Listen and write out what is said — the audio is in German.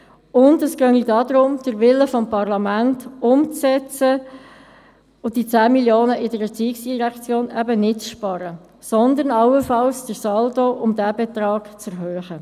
Es gehe darum, den Willen des Parlaments umzusetzen und die 10 Mio. Franken in der ERZ eben nicht einzusparen, sondern allenfalls den Saldo um diesen Betrag zu erhöhen.